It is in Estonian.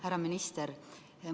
Härra minister!